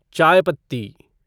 चायपत्ती